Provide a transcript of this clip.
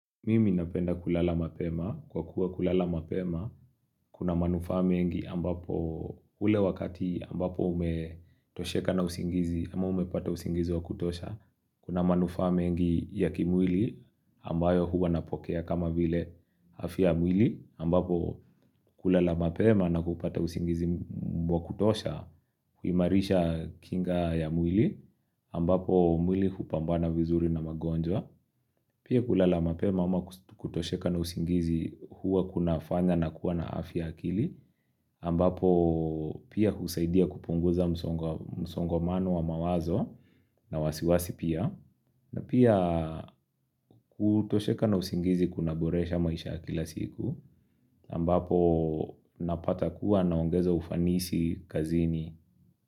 Mimi napenda kulala mapema. Kwa kuwa kulala mapema, kuna manufaa mengi ambapo ule wakati ambapo umetosheka na usingizi, ama umepata usingizi wa kutosha, kuna manufaa mengi ya kimwili ambayo huwa napokea kama vile afya ya mwili ambapo kulala mapema na kupata usingizi wa kutosha, kuimarisha kinga ya mwili ambapo mwili kupambana vizuri na magonjwa. Pia kulala mapema ama kutosheka na usingizi huwa kuna fanya na kuwa na afya akili ambapo pia husaidia kupunguza msongomano wa mawazo na wasiwasi pia na pia kutosheka na usingizi kuna boresha maisha ya kila siku ambapo napata kuwa naongeza ufanisi kazini.